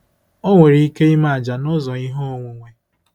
Ọ nwere ike ime àjà n’ụzọ ihe onwunwe.